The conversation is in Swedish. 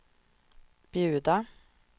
bjuda